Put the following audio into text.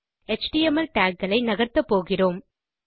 HTML tag களை நகர்த்தப்போகிறோம்